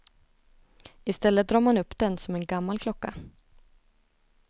I stället drar man upp den, som en gammal klocka.